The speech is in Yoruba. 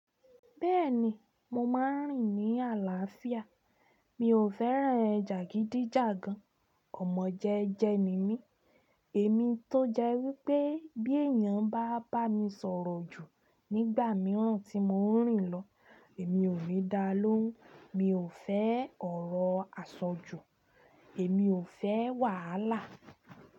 Bẹ́ẹ̀ni, mo máa ń rìn ní àlàáfíà. Mi ò fẹ́ràn jàgídíjàgan. Ọ̀mọ̀jẹ́jẹ́ ni mí. Èmi tó jẹ́ wípé bí èèyàn bá bá mi sọ̀rọ̀ jù nígbà mìíràn tí mò ń rìn lọ, èmi ò ni dáa lóhùn. Mi ò fẹ́ ọ̀rọ̀ àsọjù, èmi ò fẹ́ wàhálà.